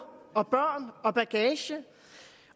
og børn og bagage